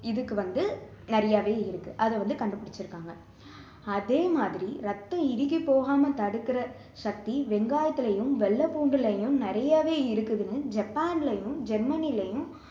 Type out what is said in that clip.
இதுக்கு வந்து நிறையவே இருக்கு அதை வந்து கண்டுபிடிச்சிருக்காங்க அதே மாதிரி ரத்தம் இறுகி போகாம தடுக்கிற சக்தி வெங்காயத்துலேயும் வெள்ளை பூண்டுலையும் நிறையவே இருக்குதுன்னு ஜப்பான்லையும் ஜெர்மனிலையும்